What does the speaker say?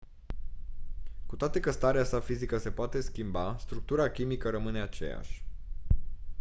cu toate că starea sa fizică se poate schimba structura chimică rămâne aceeași